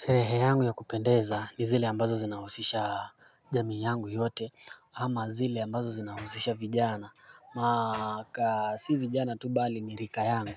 Sherehe yangu ya kupendeza ni zile ambazo zinahusisha jamii yangu yote ama zile ambazo zinahusisha vijana maka si vijana tu bali ni rika yangu